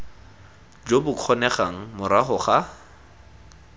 jo bo kgonegang morago ga